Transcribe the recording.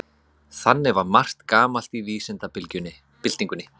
Þannig var margt gamalt í vísindabyltingunni.